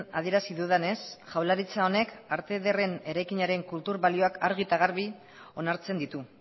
adierazi dudanez jaurlaritza honek arte ederren eraikinaren kultur balioak argi eta garbi onartzen ditu